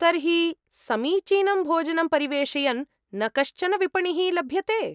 तर्हि, समीचीनं भोजनं परिवेषयन् न कश्चन विपणिः लभ्यते?